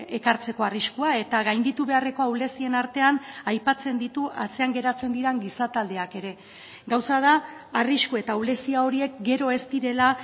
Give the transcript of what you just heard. ekartzeko arriskua eta gainditu beharreko ahulezien artean aipatzen ditu atzean geratzen diren gizataldeak ere gauza da arrisku eta ahulezia horiek gero ez direla